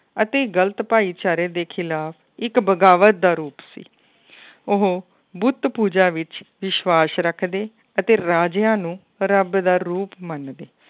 ਅਤੇ ਗ਼ਲਤ ਭਾਈਚਾਰੇ ਦੇ ਖਿਲਾਫ਼ ਇੱਕ ਬਗਾਵਤ ਦਾ ਰੂਪ ਸੀ ਉਹ ਬੁੱਤ ਪੂਜਾ ਵਿੱਚ ਵਿਸਵਾਸ਼ ਰੱਖਦੇ ਅਤੇ ਰਾਜਿਆਂ ਨੂੰ ਰੱਬ ਦਾ ਰੂਪ ਮੰਨਦੇ